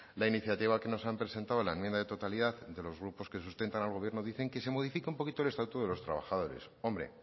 la iniciativa que nos han presentado en la enmienda de totalidad de los grupos que sustentan al gobierno dicen que se modifica un poquito el estatuto de los trabajadores hombre